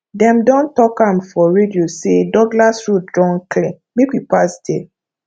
dem don talk am for radio sey douglas road don clear make we pass there